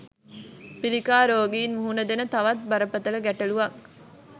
පිළිකා රෝගීන් මුහුණදෙන තවත් බරපතල ගැටලුවක්